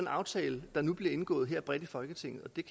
aftale der nu bliver indgået her bredt i folketinget og det